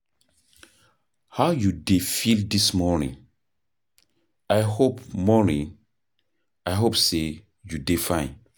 How you dey feel dis morning? I hope morning? I hope sey you dey fine.